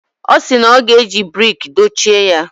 Ọ sị na ọ ga-eji brik dochie ya.